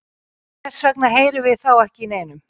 hvers vegna heyrum við þá ekki í neinum